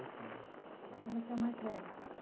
Então você é o mais velho?